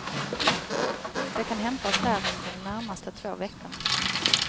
De kan hämtas där under de närmaste två veckorna.